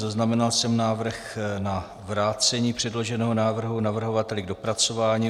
Zaznamenal jsem návrh na vrácení předloženého návrhu navrhovateli k dopracování.